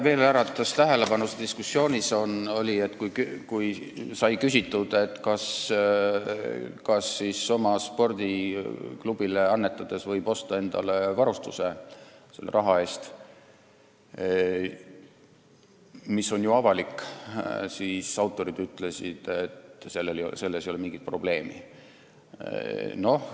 Veel äratas diskussioonis tähelepanu see, et kui sai küsitud, kas oma spordiklubile annetades, mis on ju avalik tegevus, võib endale selle raha eest varustuse osta, siis ütlesid autorid, et see ei ole mingi probleem.